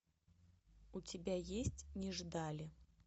у тебя есть не ждали